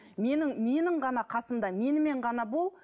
менің менің ғана қасымда менімен ғана бол